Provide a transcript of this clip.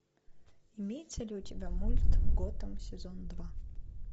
имеется ли у тебя мульт готэм сезон два